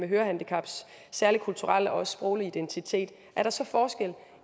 hørehandicaps særlige kulturelle og sproglige identitet er der så forskel